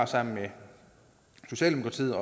sammen med socialdemokratiet